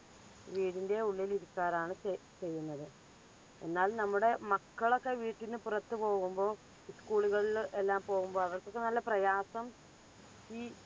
വീടിന്റെ ഉള്ളിൽ ഇരിക്കാറാണ് ചെ ചെയ്യുന്നത്. എന്നാൽ നമ്മുടെ മക്കളൊക്കെ വീട്ടിന്റെ പുറത്തു പോകുമ്പോൾ school കളിൽ എല്ലാം പോകുമ്പോൾ അവർക്കൊക്കെ നല്ല പ്രയാസം ഈ